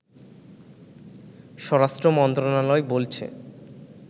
স্বরাষ্ট্র মন্ত্রণালয় বলছে